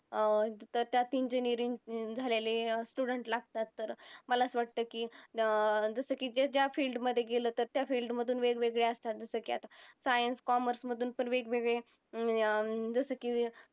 अं तर त्यात engineering झालेले student लागतात. तर मला असं वाटतं की अं जसं की ते ज्या field मध्ये गेलं तर त्या field मधून वेगवेगळे असतात. जसं की आता science, commerce मधून पण वेगवेगळे जसं की